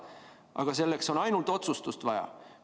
Aga selleks on ainult otsustust vaja.